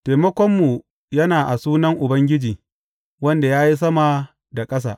Taimakonmu yana a sunan Ubangiji, Wanda ya yi sama da ƙasa.